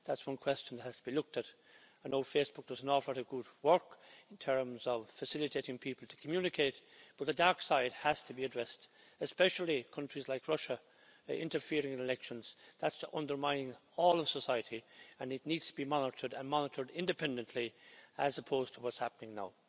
That's one question that has to be looked at. I know Facebook does an awful lot of good work in terms of facilitating people to communicate, but the dark side has to be addressed, especially countries like Russia interfering in elections. That's undermining all of society and it needs to be monitored and monitored independently, as opposed to what's happening now.